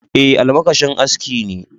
Ae, almakashin aski ne.